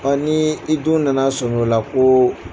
n'i denw nana sɔnmi o la ko